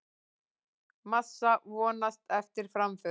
Massa vonast eftir framförum